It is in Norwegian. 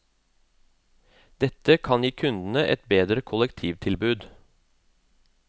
Dette kan gi kundene et bedre kollektivtilbud.